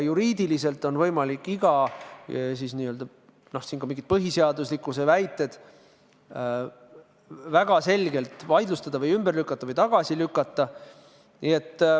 Juriidiliselt on võimalik iga põhiseaduslikkuse kohta käivat väidet väga selgelt vaidlustada või ümber lükata või tagasi lükata.